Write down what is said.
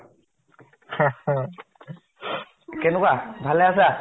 কেনেকুৱা, ভালে আছা ?